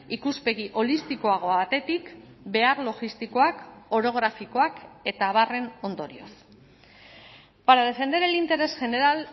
ikuspegi holistikoago batetik behar logistikoak orografikoak eta abarren ondorioz para defender el interés general